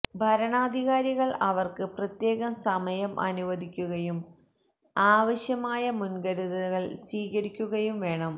വരണാധികാരികള് അവര്ക്ക് പ്രത്യേകം സമയം അനുവദിക്കുകയും ആവശ്യമായ മുന്കരുതലുകള് സ്വീകരിക്കുകയും വേണം